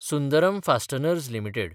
Sundaram fasteners limited